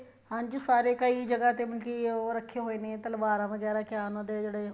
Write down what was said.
ਹਾਂਜੀ ਸਾਰੇ ਕਈ ਜਗਾਂ ਤੇ ਮਤਲਬ ਕੀ ਉਹ ਰੱਖ਼ੇ ਹੋਏ ਨੇ ਤਲਵਾਰਾਂ ਵਗੈਰਾ ਕਿਆ ਉਹਨਾ ਦੇ ਜਿਹੜੇ